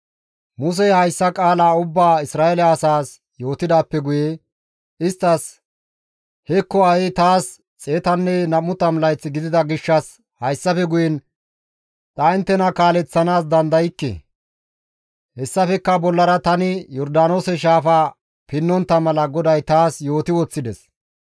isttas, «Hekko ha7i taas 120 layth gidida gishshas hayssafe guyen ta inttena kaaleththanaas dandaykke; hessafekka bollara tani Yordaanoose shaafaa pinnontta mala GODAY taas yooti woththides.